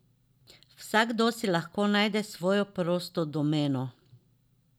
Vsakdo si lahko najde svojo prosto domeno.